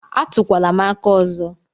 A túkwala m aka ọzọ!!